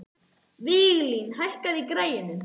Viglín, hækkaðu í græjunum.